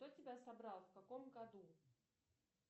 кто тебя собрал в каком году